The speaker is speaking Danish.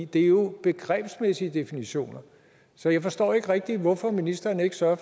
det er jo begrebsmæssige definitioner så jeg forstår ikke rigtig hvorfor ministeren ikke sørger